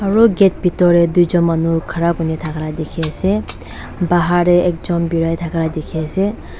aru gate bitor tae tuijon khara kurithaka dikhiase bahar tae ekjon biraithaka dikhiase.